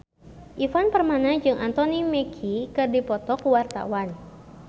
Ivan Permana jeung Anthony Mackie keur dipoto ku wartawan